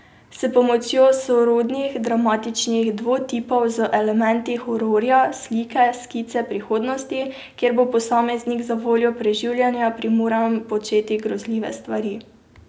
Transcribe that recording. S pomočjo sorodnih dramatičnih dovtipov z elementi hororja slika skice prihodnosti, kjer bo posameznik zavoljo preživetja primoran početi grozljive stvari.